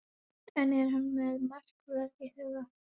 En er hann með markvörð í huga?